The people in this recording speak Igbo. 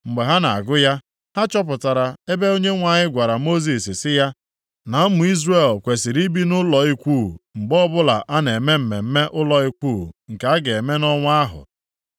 Mgbe ha na-agụ ya, ha chọpụtara ebe Onyenwe anyị gwara Mosis sị ya na ụmụ Izrel kwesiri ibi nʼụlọ ikwu mgbe ọbụla a na-eme mmemme ụlọ ikwu nke a ga-eme nʼọnwa ahụ.